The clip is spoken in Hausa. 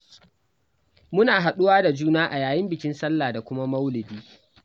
Muna haɗu wa da juna a yayin bikin Sallah da kuma Maulidi.